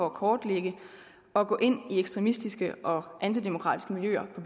at kortlægge og gå ind i ekstremistiske og antidemokratiske miljøer på